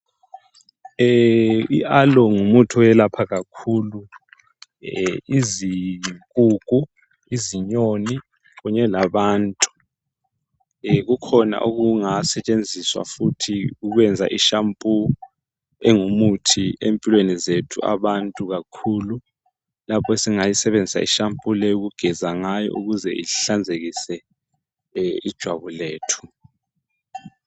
I aloe ngumuthi owelapha kakhulu izinkukhu izinyoni kunye labantu kukhona okungasetshenziswa futhi ukwenza ishampoo engumuthi empilweni zethu abantu kakhulu lapho esingayisebenzisa ishampoo leyi ukugeza ngayo ukuze ihlanzekise ijwabu lethu.